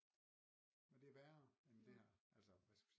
Det er værre end det her altså